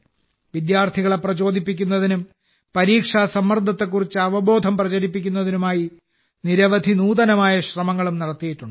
വിദ്യാർത്ഥികളെ പ്രചോദിപ്പിക്കുന്നതിനും പരീക്ഷാ സമ്മർദ്ദത്തെക്കുറിച്ച് അവബോധം പ്രചരിപ്പിക്കുന്നതിനുമായി നിരവധി നൂതനമായ ശ്രമങ്ങളും നടത്തിയിട്ടുണ്ട്